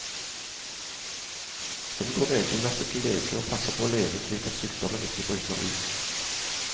Hun går regelmessig til lege og passer på å leve slik at sykdommen ikke bryter ut.